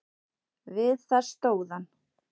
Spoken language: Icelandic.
Við það stóð hann.